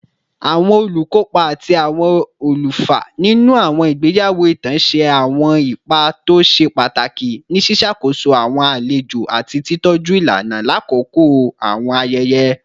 Awọn olukopa ati awọn olufa ninu awọn igbeyawo itan ṣe awọn ipa to ṣe pataki ni ṣiṣakoso awọn alejo ati titọju ilana lakoko awọn ayẹyẹ